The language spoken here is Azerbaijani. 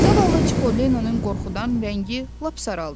Zavallı Çippolinonun qorxudan rəngi lap saraldı.